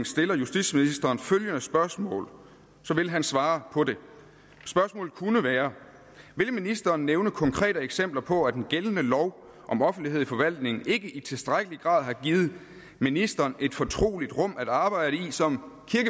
stiller justitsministeren følgende spørgsmål vil han svare på det spørgsmålet kunne være vil ministeren nævne konkrete eksempler på at den gældende lov om offentlighed i forvaltningen ikke i tilstrækkelig grad har givet ministeren et fortroligt rum at arbejde i som